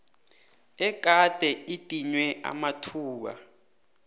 egade idinywe amathuba